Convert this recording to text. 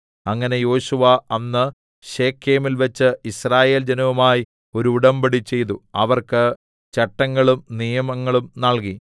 അങ്ങനെ യോശുവ അന്ന് ശെഖേമിൽ വച്ച് യിസ്രായേൽ ജനവുമായി ഒരു ഉടമ്പടിചെയ്തു അവർക്ക് ചട്ടങ്ങളും നിയമങ്ങളും നൽകി